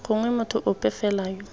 gongwe motho ope fela yo